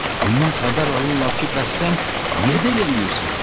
Ondan xəbər alırlar ki, bəs sən niyə də elə eləyirsən?